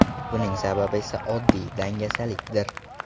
Buning sababi esa oddiy dangasalikdir.